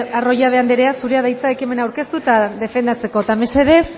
arroyabe anderea zurea da hitza ekimena aurkeztu eta defendatzeko eta mesedez